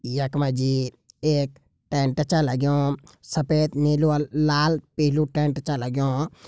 यख मा जी एक टेंट छ लग्युं। सफ़ेद नीलू लाल पीलू टेंट छ लग्युं ।